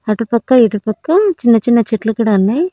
అటుపక్క ఇటుపక్క చిన్న చిన్న చెట్లు కూడా ఉన్నాయ్.